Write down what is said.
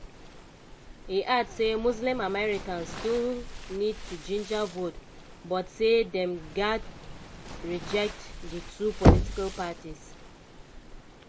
e add say muslim americans still need to ginger vote but say dem "gatz reject di two political parties".